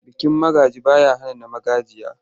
Bikin magaji ba ya hana na magajiya.